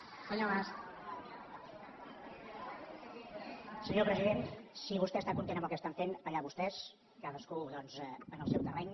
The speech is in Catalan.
senyor president si vostè està content amb el que estan fent allà vostès cadascú doncs en el seu terreny